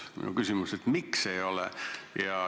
Minu küsimus on, et miks ei ole.